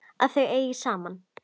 Að þau eigi saman.